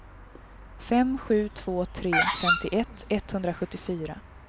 fem sju två tre femtioett etthundrasjuttiofyra